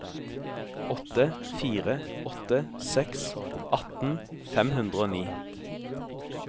åtte fire åtte seks atten fem hundre og ni